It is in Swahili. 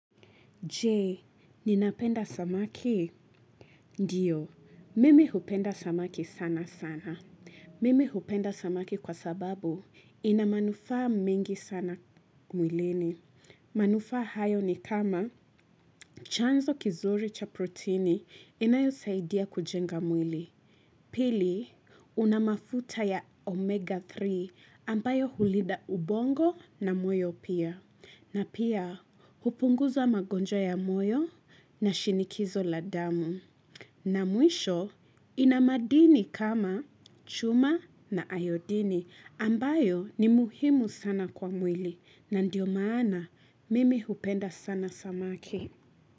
Jee, ninapenda samaki? Ndiyo, mimi hupenda samaki sana sana. Mimi hupenda samaki kwa sababu ina manufaa mengi sana mwilini. Manufa hayo ni kama chanzo kizuri cha proteini inayosaidia kujenga mwili. Pili, una mafuta ya omega tatu ambayo hulinda ubongo na moyo pia. Na pia, hupunguza magonjwa ya moyo na shinikizo la damu. Na mwisho, ina madini kama chuma na iodini ambayo ni muhimu sana kwa mwili na ndiyo maana mimi hupenda sana samaki.